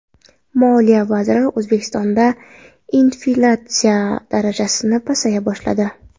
Moliya vaziri: O‘zbekistonda inflyatsiya darajasi pasaya boshladi.